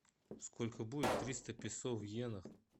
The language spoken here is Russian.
сколько будет триста песо в йенах